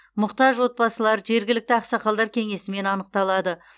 мұқтаж отбасылар жергілікті ақсақалдар кеңесімен анықталады